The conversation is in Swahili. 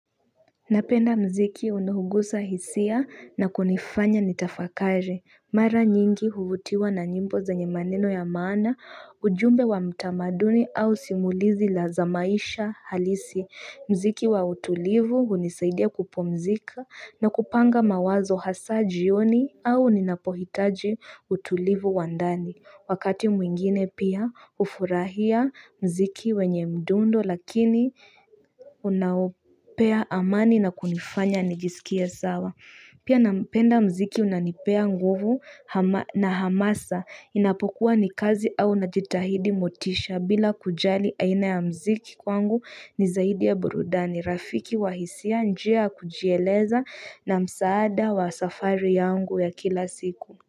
Napenda mziki unaoguza hisia na kunifanya nitafakari, mara nyingi huvutiwa na nyimbo zenye maneno ya maana, ujumbe wa mtamaduni au simulizi la za maisha halisi, mziki wa utulivu hunisaidia kupumzika na kupanga mawazo haswa jioni au ninapohitaji utulivu wa ndani, wakati mwingine pia hufurahia mziki wenye mdundo lakini Unaopea amani na kunifanya nijisikie sawa Pia napenda mziki unanipea nguvu na hamasa Inapokuwa ni kazi au na jitahidi motisha bila kujali aina ya mziki kwangu ni zaidi ya burudani Rafiki wahisia njia kujieleza na msaada wa safari yangu ya kila siku.